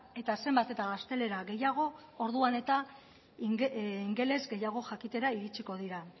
eta zenbat eta gaztelera gehiago orduan eta ingeles gehiago jakitera iritsiko dira